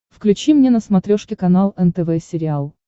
включи мне на смотрешке канал нтв сериал